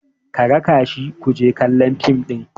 ka raka shi ku je kallon fim ɗin!